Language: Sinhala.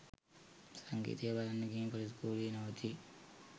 සංගීතය බලන්න ගිහින් පොලිස් කූඩුවේ නවතී